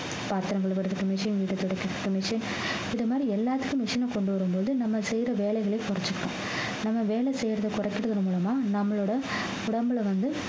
பாத்திரத்தை கழுவ machine வீட்டை துடைக்க machine இந்த மாதிரி எல்லாத்துக்கும் machine ஐ கொண்டு வரும்போது நம்ம செய்யற வேலைகளையும் குறைச்சுக்கும் நம்ம வேலை செய்யறதை குறைக்கிறது மூலமா நம்மளோட உடம்புல வந்து